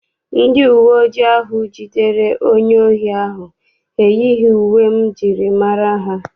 Ndị uwe ojii ahụ jidere onye ohi ahụ eyighị uwe m jiri mara ha.